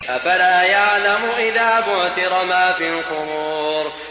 ۞ أَفَلَا يَعْلَمُ إِذَا بُعْثِرَ مَا فِي الْقُبُورِ